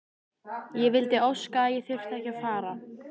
Ég vildi óska að ég þyrfti ekki að fara.